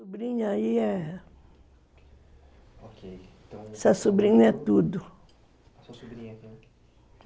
A sobrinha aí é... Ok. Essa sobrinha é tudo, sua sobrinha